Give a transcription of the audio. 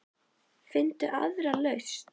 Finndu aðra lausn.